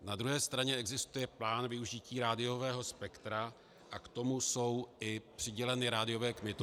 Na druhé straně existuje plán využití rádiového spektra a k tomu jsou i přiděleny rádiové kmitočty.